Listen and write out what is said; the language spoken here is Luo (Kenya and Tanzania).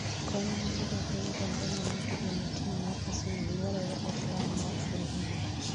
kony mar ja piny Tanzania matugo ne tim mar Arsenal dwarore e klab mar fulham